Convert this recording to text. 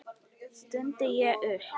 stundi ég upp.